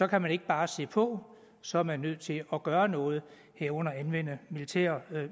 kan man ikke bare se på så er man nødt til at gøre noget herunder anvende militære